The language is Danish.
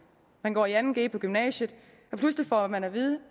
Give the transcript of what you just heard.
man går i anden g på gymnasiet og pludselig får man at vide